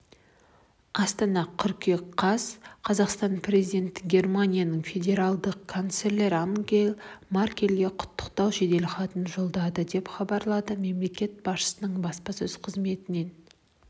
астана қыркүйек қаз қазақстан президенті германияның федералдық канцлері ангела меркельге құттықтау жеделхатын жолдады деп хабарлады мемлекет басшысының баспасөз қызметінен